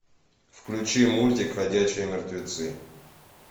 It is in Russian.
включи мультик ходячие мертвецы